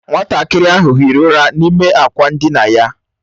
Nwatakịrị ahụ hiri ụra n'ime akwa ndina ya.